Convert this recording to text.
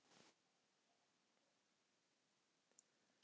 segir Sæmi eins og hann nái ekki upp í delluna sem veltur út úr mér.